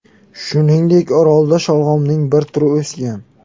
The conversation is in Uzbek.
Shuningdek, orolda sholg‘omning bir turi o‘sgan.